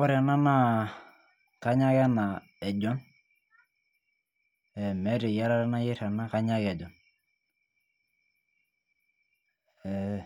Ore ena naa, kanya ake ena ejon. meeta eyiarare nayieri ena, kanya ake ejon.ee